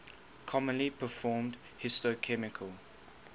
commonly performed histochemical